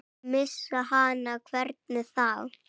Missa hana, hvernig þá?